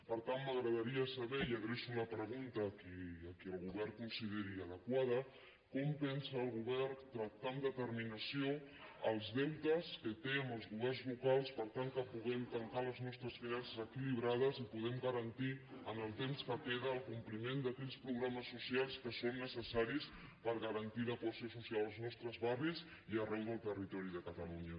per tant m’agradaria saber i adreço la pregunta a qui el govern ho consideri adequat com pensa el govern tractar amb determinació els deutes que té amb els governs locals per tal que puguem tancar les nostres finances equilibrades i puguem garantir en el temps que queda el compliment d’aquells programes socials que són necessaris per garantir la cohesió social als nostres barris i arreu del territori de catalunya